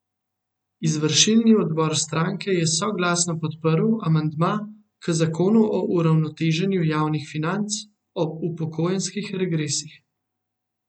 Izvršilni odbor stranke je soglasno podprl amandma k zakonu o uravnoteženju javnih financ o upokojenskih regresih.